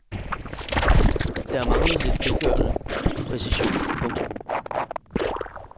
Der manglede lidt frigørende præcision. punktum